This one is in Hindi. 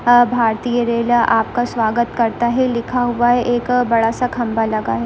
आ भारतीय रेल आपका स्वागत करता है लिखा हुआ है एक बड़ा सा खंभा लगा है।